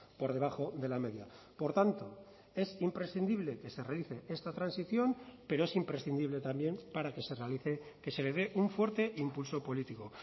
por debajo de la media por tanto es imprescindible que se realice esta transición pero es imprescindible también para que se realice que se le dé un fuerte impulso político